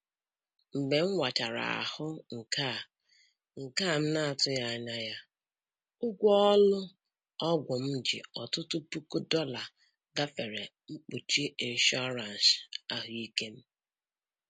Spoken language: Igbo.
Mgbe m wachara ahụ nke a nke a m na-atụghị anya ya, ụgwọ ụlọ ọgwụ m ji ọtụtụ puku dollar gafere mkpuchi ịnshọransị ahụike m.